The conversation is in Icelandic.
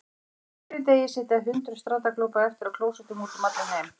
Á hverjum degi sitja hundruð strandaglópa eftir á klósettum út um allan heim.